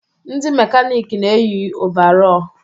Ndị mekanịkị na eyi ọvarọọr.